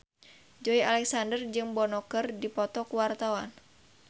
Joey Alexander jeung Bono keur dipoto ku wartawan